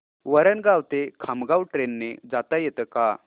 वरणगाव ते खामगाव ट्रेन ने जाता येतं का